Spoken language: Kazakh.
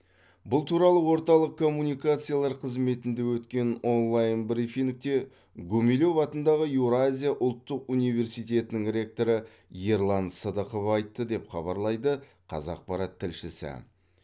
бұл туралы орталық коммуникациялар қызметінде өткен онлайн брифингте гумилев атындағы еуразия ұлттық университетінің ректоры ерлан сыдықов айтты деп хабарлайды қазақпарат тілшісі